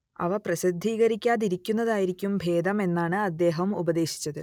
അവ പ്രസിദ്ധീകരിക്കാതിരിക്കുന്നതായിരിക്കും ഭേദം എന്നാണ് അദ്ദേഹം ഉപദേശിച്ചത്